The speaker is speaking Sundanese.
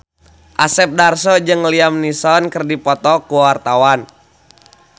Asep Darso jeung Liam Neeson keur dipoto ku wartawan